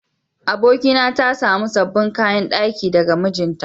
Abokina ta samu sabbin kayan daki daga mijinta.